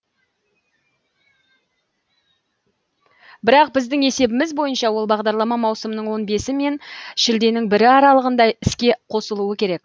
бірақ біздің есебіміз бойынша ол бағдарлама маусымның он бесі мен шілденің бірі аралығында іске қосылуы керек